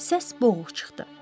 Səs boğuq çıxdı.